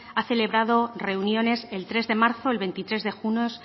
ha celebrado reuniones el tres de marzo el veintitrés de junio